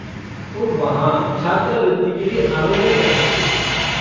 तुम वहाँ छात्रवृति के लिये आवेदन कर सकते हो।